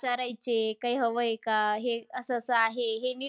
विचारायचे काय हवय का. हे असं-असं आहे. हे